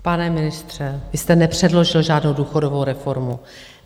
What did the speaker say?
Pane ministře, vy jste nepředložil žádnou důchodovou reformu.